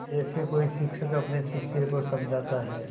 जैसे कोई शिक्षक अपने शिष्य को समझाता है